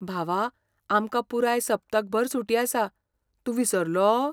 भावा, आमकां पुराय सप्तकभर सुटी आसा, तूं विसरलो?